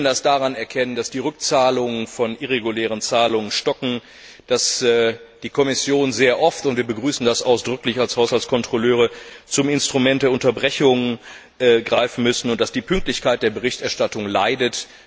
Wir können das daran erkennen, dass die Rückzahlungen von irregulären Zahlungen stocken, dass die Kommission sehr oft und wir begrüßen das ausdrücklich als Haushaltskontrolleure zum Instrument der Unterbrechung greifen muss und dass die Pünktlichkeit der Berichterstattung leidet.